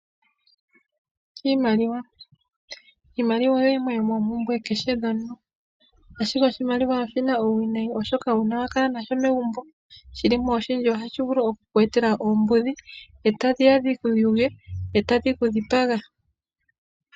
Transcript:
Iimaliwa oyo yimwe yomoompumbwe dhakehe omuntu ashike oshimaliwa oshina uuwinayi oshoka uuna wakala nasho megumbo shilimo oshindji ohashi ku etele oombudhi ee tadhiya dhikuyuge ee tadhi kudhipaga.